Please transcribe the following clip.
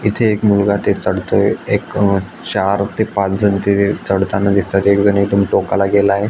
इथे एक मुलगा ते चढतोय एक अ चार ते पाच जण ते चढतानी दिसतायत एक जण येथुन टोकाला गेलाय.